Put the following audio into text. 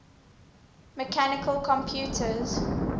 mechanical computers